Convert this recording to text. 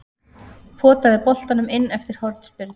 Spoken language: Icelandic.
Potaði boltanum inn eftir hornspyrnu.